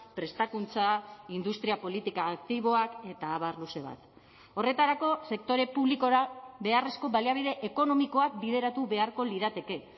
prestakuntza industria politika aktiboak eta abar luze bat horretarako sektore publikora beharrezko baliabide ekonomikoak bideratu beharko lirateke